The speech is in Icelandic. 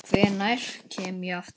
Hvenær kem ég aftur?